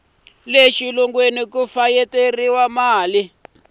le xilungwini va fayetela mali